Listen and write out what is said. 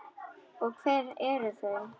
Og hver eru þau?